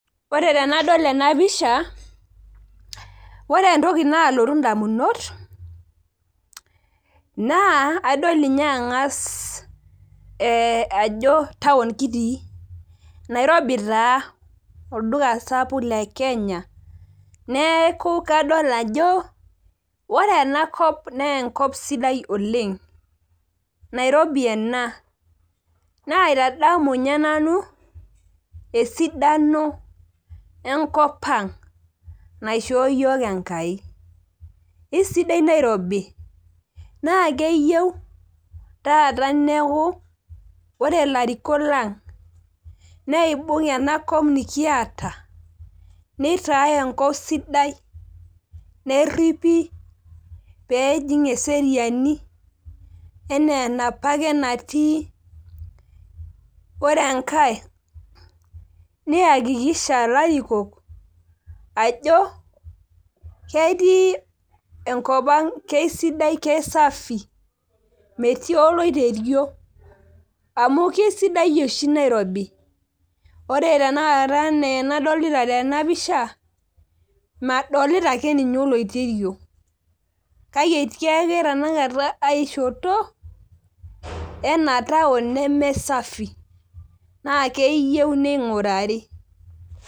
ore tenadol enapisha oe entoki naalotu idamunot naa adol ninye ang'as ee ajo taun kitii nairobi taa olduka sapuk lekenya neeku kadol ajo ore enakop naa enkop sidai oleng' nairobi ena naitadamu ninye nanu esidano enkopang' naishoo iyiok Enkai, kesidai nairobi oleng' naa keyie paa ore ilarikok lang' neibung' enakop nikiata nitae enkop sidai neripi pee ejing eseriani enaa enapake natii, ore enkae niyakikisha ilarikok ajo kisafi enkopang metii oloiterio amu kisidai oshi nairobi ore tenakata enaa enadolita tena pisha, madolita akeninye tenakata oloiterio kake etii ake ninye tenakata aishoto ena taun nemesafi naa keyieu ning'urari.